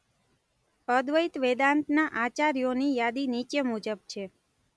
અદ્વૈત વેદાંતના આચાર્યોની યાદી નીચે મુજબ છે.